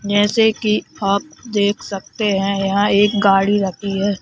जैसे की आप देख सकते हैं यहां एक गाड़ी रखी है।